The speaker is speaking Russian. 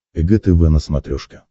эг тв на смотрешке